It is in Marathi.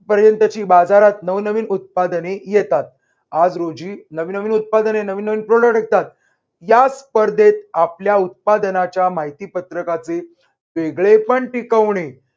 पर्यंतची बाजारात नवनवीन उत्पादने येतात. आज रोजी नवीन नवीन उत्पादने नवीन नवीन product विकतात या स्पर्धेत आपल्या उत्पादनाच्या माहितीपत्रकाचे वेगळेपण टिकवणे